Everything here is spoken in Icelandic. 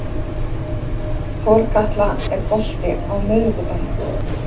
Þorkatla, er bolti á miðvikudaginn?